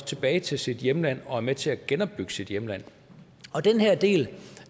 tilbage til sit hjemland og er med til at genopbygge sit hjemland og den her del